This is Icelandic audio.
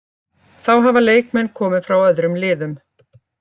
Þá hafa leikmenn komið frá öðrum liðum.